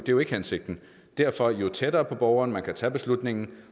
jo ikke hensigten derfor jo tættere på borgeren man kan tage beslutningen